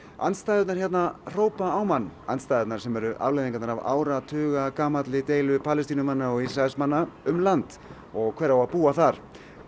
andstæðurnar hérna hrópa á mann andstæðurnar sem eru afleiðingarnar af áratuga deilu Palestínumanna og Ísraelsmanna um land og hver á að búa þar